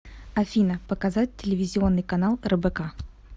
афина показать телевизионный канал рбк